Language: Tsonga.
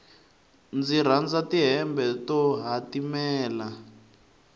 ndzi rhandza ti hembe to hatimela